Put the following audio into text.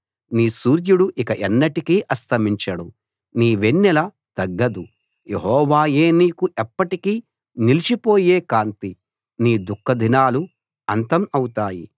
నీ సూర్యుడు ఇక ఎన్నటికీ అస్తమించడు నీ వెన్నెల తగ్గదు యెహోవాయే నీకు ఎప్పటికీ నిలిచిపోయే కాంతి నీ దుఃఖదినాలు అంతం అవుతాయి